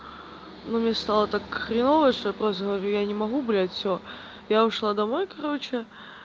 ну мне стало так хреново что я просто говорю я не могу блядь всё я ушла домой короче